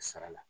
Sara la